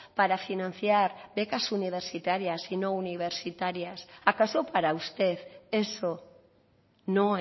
para financiar becas universitarias y no universitarias acaso para usted eso no